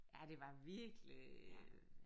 Ja det var virkelig